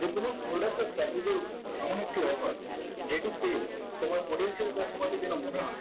যে কোন product এর service এর উপর এমন একটি offer যেটি পেয়ে তোমার potential customer দের যেন মনে হয়